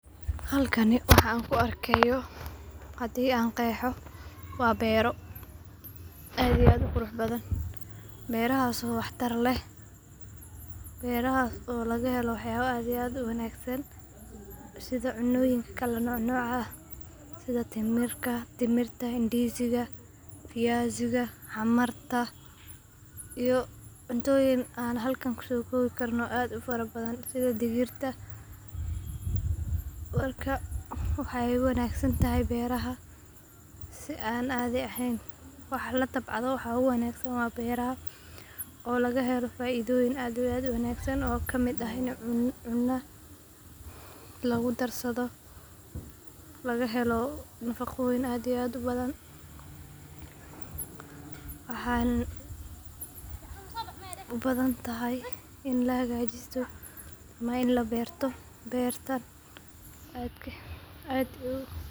Halkani waxaan ku arkaayo hadaan qeexo waa beero, aad iyo aad uqurux badan, beerahaas oo wax tar leh, beerahaas oo laga helo wax yaabo aad iyo aad uwanagsan, sida cunooyin kala nooc nooc ah, sida timirta, ndiziga, xamarta iyo cuntooyin aan halkan kusoo koobi karin oo aad ufara badan, sida digirta, waxeey wanagsan tahay beeraha si aan caadi eheen, waxa latabcado waxa uwanagsan waa beeraha oo laga helo faidoyin aad iyo aad ubadan, laga helo nafaqoyiin aad iyo aad ufara badan, waxeey ubadan tahay in lahaagajisto ama in labeerto beerta.